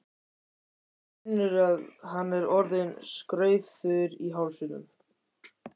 Hann finnur að hann er orðinn skraufþurr í hálsinum.